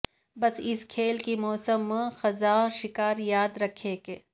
بس اس کھیل کے موسم خزاں شکار یاد رکھیں کہ